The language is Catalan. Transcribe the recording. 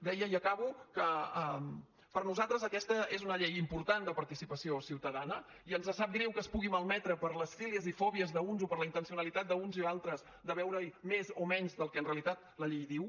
deia i acabo que per a nosaltres aquesta és una llei important de participació ciutadana i ens sap greu que es pugui malmetre per les fílies i fòbies d’uns o per la intencionalitat d’uns i altres de veure hi més o menys del que en realitat la llei diu